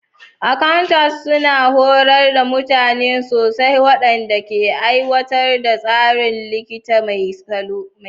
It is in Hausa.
Accounters suna horar da mutane sosai waɗanda ke aiwatar da tsarin likita mai salo.